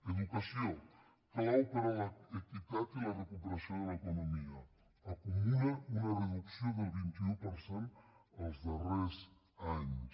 educació clau per a l’equitat i la recuperació de l’economia acumula una reducció del vint un per cent els darrers anys